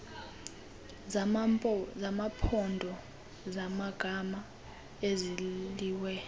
zamaphondo zamagama ezelizwe